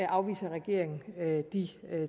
afviser regeringen de